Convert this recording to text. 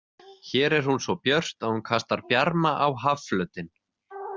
Hér er hún svo björt að hún kastar bjarma á hafflötinn.